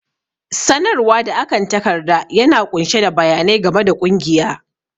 sanarwa da akan takarda yana ƙunshe da bayanai game da ƙungiya